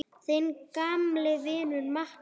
Þinn gamli vinur Matti.